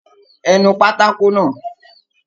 Ẹ nu pátákó náà!